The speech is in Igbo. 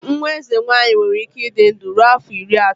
Nwa eze nwanyị nwere ike ịdị ndụ ruo afọ iri atọ.